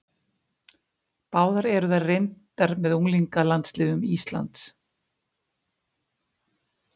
Báðar eru þær reyndar með unglingalandsliðum Íslands.